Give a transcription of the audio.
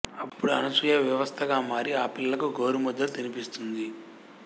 అప్పుడు అనసూయ వివస్త్రగా మారి ఆ పిల్లలకు గోరు ముద్దలు తినిపిస్తుంది